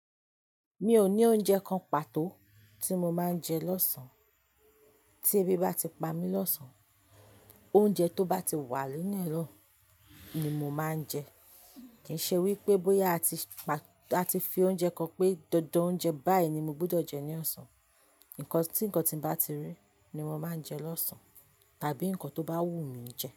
Mi ò ní oúnjẹ kan pàtó tí mo máa ń jẹ lọ́sàn án. Tí ebi bá ti pa mí lọ́sàn, oúnjẹ tó bá ti wà nílé náà ni mo máa ń jẹ. Kì í ṣe wípé bóyá a ti fi oúnjẹ kan pé dandan oúnjẹ báyìí ni mo gbúdọ̀ jẹ ní ọ̀sán. Cause ti ǹkan ti n bá ti rí ni mo máa nje ni ọ̀sán tàbí ǹkan tó bá wu mi je.